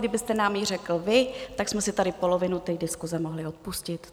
Kdybyste nám ji řekl vy, tak jsme si tady polovinu té diskuse mohli odpustit.